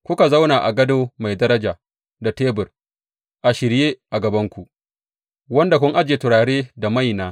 Kuka zauna a gado mai daraja, da tebur a shirye a gabanku wanda kun ajiye turare da maina.